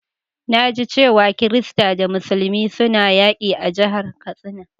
Na ji cewa kirista da musulmi suna yaki a'jihar Katsina.